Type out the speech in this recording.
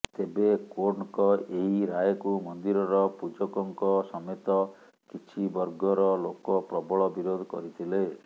ତେବେ କୋର୍ଟଙ୍କ ଏହି ରାୟକୁ ମନ୍ଦିରର ପୂଜକଙ୍କ ସମେତ କିଛି ବର୍ଗର ଲୋକ ପ୍ରବଳ ବିରୋଧ କରିଥିଲେ